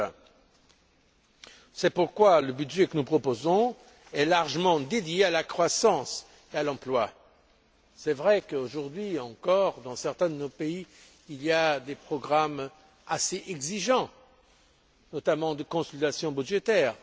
2020. C'est pourquoi le budget que nous proposons est largement dédié à la croissance et à l'emploi. Il est vrai qu'aujourd'hui encore, dans certains de nos pays, il y a des programmes assez exigeants, notamment de consolidation budgétaire.